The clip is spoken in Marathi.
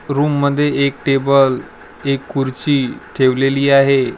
रूम मध्ये एक टेबल एक खुर्ची ठेवलेली आहे.